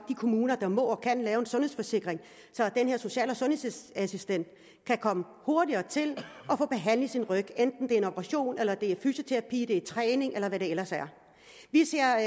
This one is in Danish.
er kommuner der må og kan lave en sundhedsforsikring så den her social og sundhedsassistent kan komme hurtigere til og få behandlet sin ryg enten ved operation eller fysioterapi eller træning eller hvad det ellers er vi ser